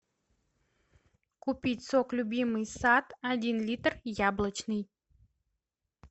купить сок любимый сад один литр яблочный